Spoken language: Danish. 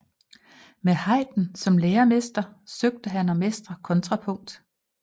Med Haydn som læremester søgte han at mestre kontrapunkt